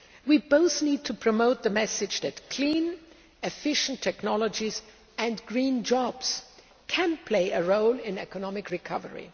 We both need to promote the message that clean, efficient technologies and green jobs' can play a role in economic recovery.